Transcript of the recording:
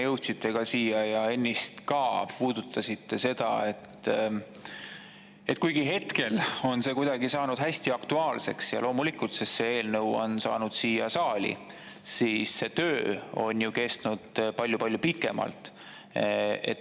Te natuke ennist puudutasite ka seda teemat, et kuigi hetkel on see saanud hästi aktuaalseks – ja loomulikult, sest see eelnõu on jõudnud siia saali –, on töö selle kallal ju kestnud palju pikemalt.